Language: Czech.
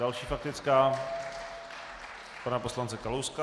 Další faktická pana poslance Kalouska.